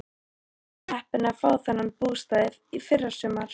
Pabbi var heppinn að fá þennan bústað í fyrrasumar.